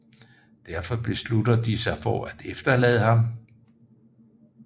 Derfor beslutter de sig for at efterlade ham